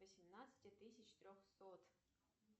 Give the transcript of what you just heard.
восемнадцати тысяч трехсот